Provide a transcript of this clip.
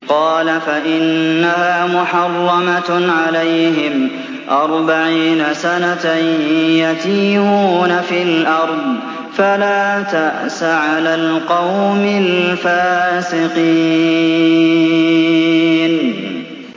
قَالَ فَإِنَّهَا مُحَرَّمَةٌ عَلَيْهِمْ ۛ أَرْبَعِينَ سَنَةً ۛ يَتِيهُونَ فِي الْأَرْضِ ۚ فَلَا تَأْسَ عَلَى الْقَوْمِ الْفَاسِقِينَ